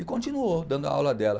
E continuou dando a aula dela.